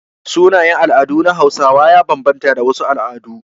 Sunayen al'adu na Hausawa ya banbanta da na wasu al'adu.